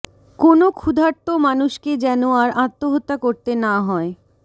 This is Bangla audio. কোনও ক্ষুধার্ত মানুষকে যেন আর আত্মহত্যা করতে না হয়